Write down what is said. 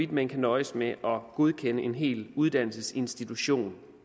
man kan nøjes med at godkende en hel uddannelsesinstitution